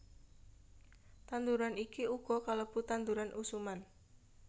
Tanduran iki uga kalebu tanduran usuman